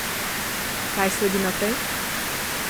Kaj sledi naprej?